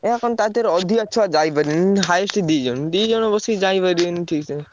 ଏୟା କଣ ତା ଧିଅରେ ଅଧିକା ଛୁଆ ଯାଇପାରିବେନି। highest ଦିଜଣ। ଦିଜଣ ବସିକି ଯାଇପାରିବେନି ଠିକ୍ ସେ।